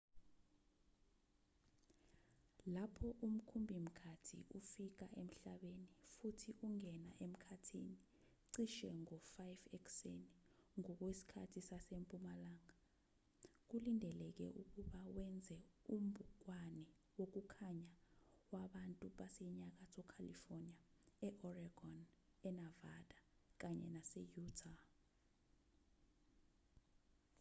lapho umkhumbi-mkhathi ufika emhlabeni futhi ungena emkhathini cishe ngo-5 ekuseni ngokwesikhathi sasempumalanga kulindeleke ukuba wenze umbukwane wokukhanya wabantu basenyakatho california e-oregon enavada kanye nase-utah